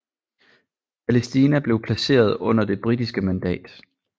Palæstina blev placeret under det britiske mandat